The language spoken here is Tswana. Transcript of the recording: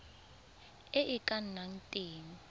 e e ka nnang teng